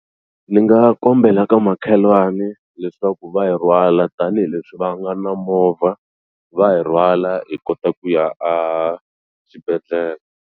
Ni nga kombela ka makhelwani leswaku va hi rhwala tanihileswi va nga na movha va hi rhwala hi kota ku ya a xibedhlele.